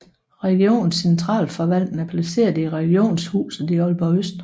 Regionens centralforvaltning er placeret i Regionshuset i Aalborg Øst